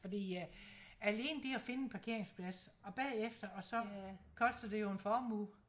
Fordi øh alene det at finde en parkingsplads og bagefter og så koster det jo en formue